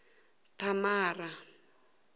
thamara